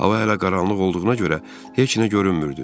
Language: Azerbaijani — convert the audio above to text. Hava hələ qaranlıq olduğuna görə heç nə görünmürdü.